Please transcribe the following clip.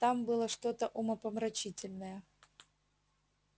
там было что-то умопомрачительное